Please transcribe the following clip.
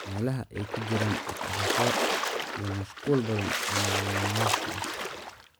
meelaha ay ka jireen dhaq-dhaqaaqyo iyo mashquul badan oo nolol maalmeedka ah.